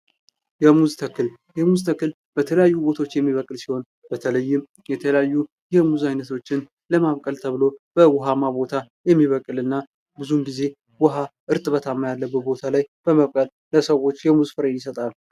የሙዝ ተክል ፡-የሙዝ ተክል በተለያዩ አካባቢዎች የሚበቅል ሲሆን በተለይም የተለያዩ የሙዚያ ዓይነቶችን ለማብቀል ተብሎ በውሃና ቦታ የሚበቅልና ብዙ ጊዜ ውሃ እጥቦታማ ቦታ በመብቀለል ለሰዎች የሙዝ ፍሬን ይሰጣል።